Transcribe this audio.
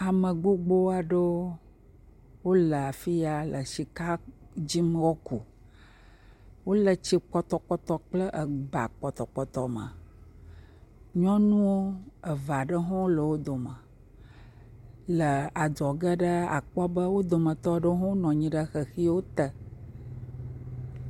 Ame gbogbo aɖewo wole afi ya le sika dzi woaku, wole tsi pɔtɔpɔtɔ kple eba pɔtɔpɔtɔwo me, nyɔnu eve aɖewo hã le wo dome, le adzɔge la akpɔ be wo dometɔ aɖewo nɔ anyi ɖe xexi te.